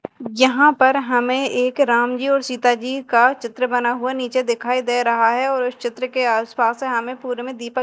जहां पर हमें एक राम जी और सीता जी का चित्र बना हुआ नीचे दिखाई दे रहा है और उस चित्र के आसपास है हमें पूर्व में दीपक--